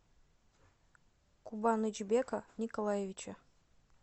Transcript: кубанычбека николаевича